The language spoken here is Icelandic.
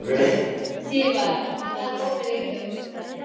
Sívar, hvað er opið lengi á fimmtudaginn?